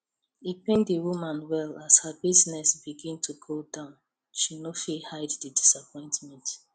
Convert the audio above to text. e pain the woman well as her business begin go down she no fit hide the disappointment